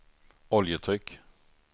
oljetryck